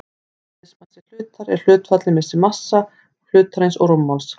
Eðlismassi hlutar er hlutfallið milli massa hlutarins og rúmmáls.